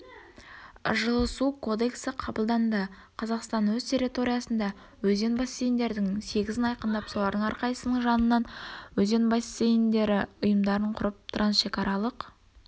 жылы су кодексі қабылданды қазақстан өз территориясында өзен бассейіндерінің сегізін айқындап солардың әрқайсысының жанынан өзен бассейіндері ұйымдарын құрып трансшекаралық